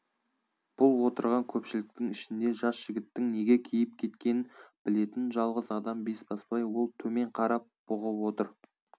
бұл отырған көпшіліктің ішінде жас жігіттің неге кейіп кеткенін білетін жалғыз адам бесбасбай ол төмен қарап бұғып отыр